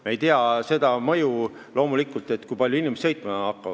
Me ei tea seda mõju, loomulikult, kui palju inimesed sõitma hakkavad.